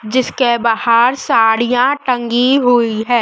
जिसके बाहर साड़ियां टंगी हुई है।